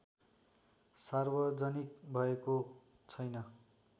सार्वजनिक भएको छैन